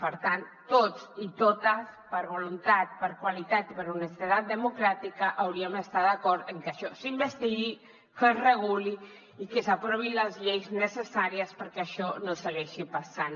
per tant tots i totes per voluntat per qualitat i per honestedat democràtica hauríem d’estar d’acord en que això s’investigui que es reguli i que s’aprovin les lleis necessàries perquè això no segueixi passant